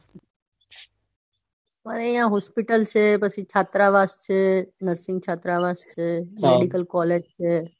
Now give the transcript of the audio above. પણ આઇયા hospital છે પછી છાત્રાવાસ છે nursing છાત્રાવાસ છે મેડિકલ કોલેજ છે.